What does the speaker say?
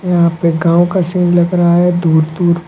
यहां पे गांव का सीन लग रहा है दूर दूर--